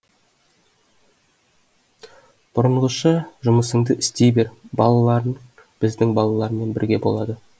бұрынғыша жұмысыңды істей бер балаларың біздің балалармен бірге болады